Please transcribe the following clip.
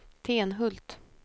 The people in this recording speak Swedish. Tenhult